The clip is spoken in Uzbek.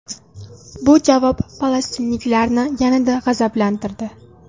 Bu javob falastinliklarni yanada g‘azablantirdi.